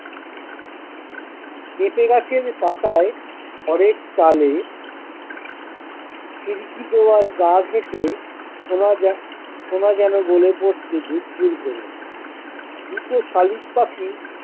পেঁপে গাছের পাতায় খড়ের চালে খিড়কি দোয়ার গা ঘেঁষে সোনা জ্যা সোনা যেন গলে পড়ছে ঝুর ঝুর করে দুটো শালিক পাখি।